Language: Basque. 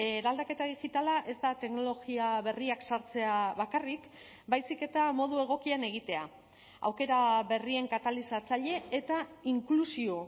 eraldaketa digitala ez da teknologia berriak sartzea bakarrik baizik eta modu egokian egitea aukera berrien katalizatzaile eta inklusio